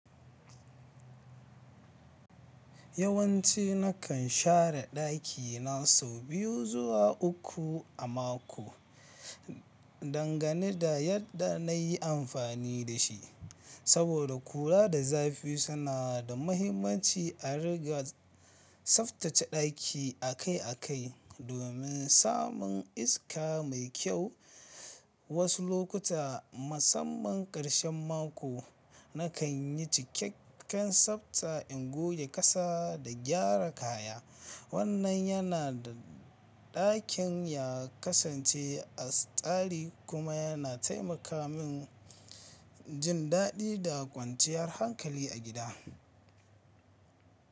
Yawanci nakan share ɗakina sau biyu zuwa uku a mako, dangane da yadda na yi amfani da shi. Saboda kura da zafi suna da mahimmanci a rigar tsaftace ɗaki akai-akai domin samun iska mai kyau, wasu lokuta, musamman ƙarshen mako, nakan yi cikakken tsafta in goge ƙasa da gyara kaya. Wannan yana da ɗakin ya kasance a tsari kuma yana taimaka min jin daɗi da kwanciyar hankali a gida.